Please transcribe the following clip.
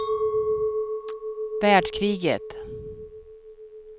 världskriget